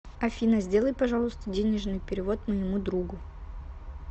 афина сделай пожалуйста денежный перевод моему другу